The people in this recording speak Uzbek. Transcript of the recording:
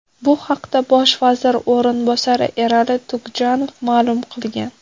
Bu haqda bosh vazir o‘rinbosari Erali Tugjanov ma’lum qilgan .